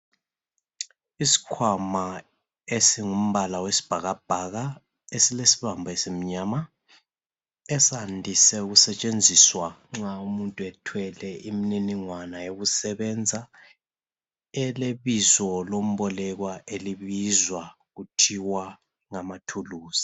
Isikhwama esingumbala wesibhakabhaka esilesibambo esimnyama esandise ukusetshenziswa nxa umuntu ethwele imininingwana yokusebenza elebizo lombolekwa elibizwa kuthiwa ngamathuluzi.